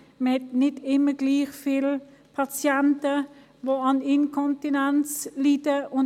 Wir haben nicht immer gleich viele Patienten, die an Inkontinenz leiden;